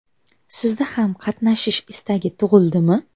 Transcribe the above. Sizda ham qatnashish istagi tug‘ildimi?